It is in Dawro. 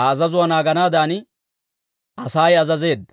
Aa azazuwaa naaganaadan Asay azazeedda.